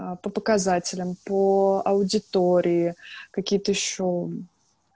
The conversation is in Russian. по показателям по аудитории какие-то ещё